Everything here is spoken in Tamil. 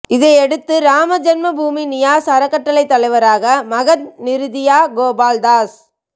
இதையடுத்து ராம ஜென்மபூமி நியாஸ் அறக்கட்டளை தலைவராக மஹந்த் நிரிதியா கோபால் தாஸ்